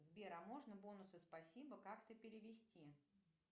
сбер а можно бонусы спасибо как то перевести